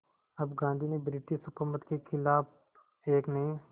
अब गांधी ने ब्रिटिश हुकूमत के ख़िलाफ़ एक नये